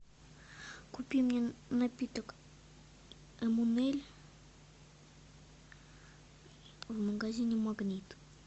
купи мне напиток имунеле в магазине магнит